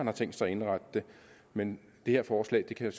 har tænkt sig at indrette det men det her forslag kan